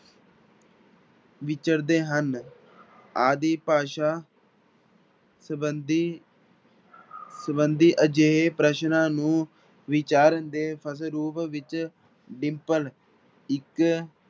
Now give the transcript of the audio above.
ਵਿਚਰਦੇ ਹਨ ਆਦਿ ਭਾਸ਼ਾ ਸੰਬੰਧੀ ਸੰਬੰਧੀ ਅਜਿਹੇ ਪ੍ਰਸ਼ਨਾਂ ਨੂੰ ਵਿਚਾਰਨ ਦੇ ਵਿੱਚ ਡਿੰਪਲ ਇੱਕ